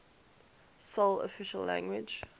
sole official language